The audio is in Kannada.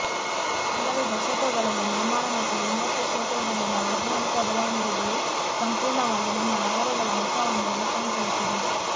ಕೆಲವೇ ದಶಕಗಳಲ್ಲಿ ನಿರ್ಮಾಣ ಮತ್ತು ವಿನ್ಯಾಸ ಕ್ಷೇತ್ರದಲ್ಲಿನ ವೈಜ್ಞಾನಿಕ ಬೆಳವಣಿಗೆಗಳು ಸಂಪೂರ್ಣವಾಗಿ ನಮ್ಮ ನಗರಗಳ ಮುಖವನ್ನು ರೂಪಾಂತರಿಸಿದೆ